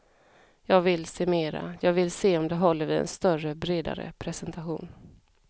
Jag vill se mera, jag vill se om det håller vid en större, bredare presentation.